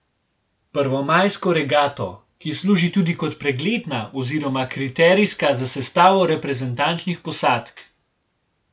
Prvomajsko regato, ki služi tudi kot pregledna oziroma kriterijska za sestavo reprezentančnih posadk.